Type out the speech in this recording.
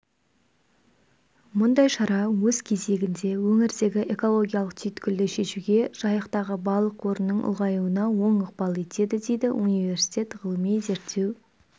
мұндай шара өз кезегінде өңірдегі экологиялық түйткілді шешуге жайықтағы балық қорының ұлғаюына оң ықпал етеді дейді университет ғылыми-зерттеу